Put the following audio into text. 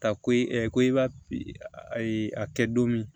Ka ko i ko i b'a a kɛ don min